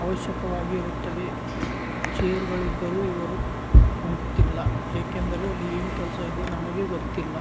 ಅವಶ್ಯಕವಾಗಿ ಇರುತ್ತದೆ ಚೇರ್ಗಳು ಇದ್ದರು ಇವರು ಕುಂತಿಲ್ಲ ಏಕೆಂದರೆ ಅಲ್ಲಿ ಏನ್ ಕೆಲ್ಸ ಇದೆ ನಮಗೆ ಗೊತ್ತಿಲ್ಲ.